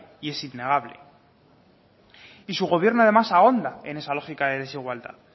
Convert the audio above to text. y es innegable y su gobierno además ahonda en esa lógica de desigualdad